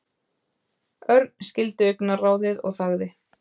Örn skildi augnaráðið og þagði.